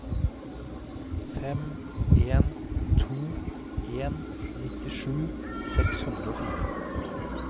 fem en to en nittisju seks hundre og fire